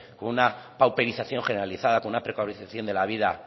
con una pauperización generalizada con una precarización de la vida